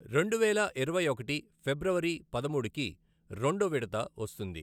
రెండువేల ఇరవై ఒకటి ఫిబ్రవరి పదమూడుకి రెండోె విడత వస్తుంది.